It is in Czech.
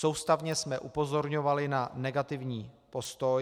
Soustavně jsme upozorňovali na negativní postoj.